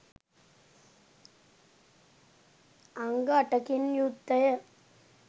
අංග අටකින් යුක්තය.